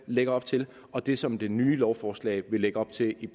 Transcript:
lagde op til og det som det nye lovforslag vil lægge op til